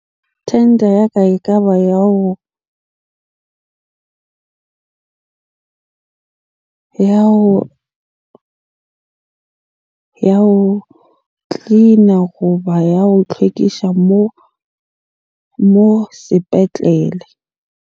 Tender ya ka e ka ba ya ho ya ho cleaner goba ya ho tlhwekisa mo sepetlele.